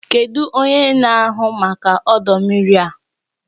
Kedu onye na-ahụ maka ọdọ mmiri a?